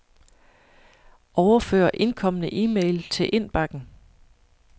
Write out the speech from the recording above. Overfør indkomne e-mail til indbakken.